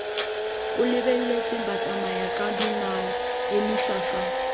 o lebeletse batsamayakadinao emisa fa